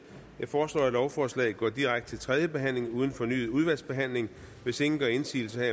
jeg foreslår at lovforslaget går direkte til tredje behandling uden fornyet udvalgsbehandling hvis ingen gør indsigelse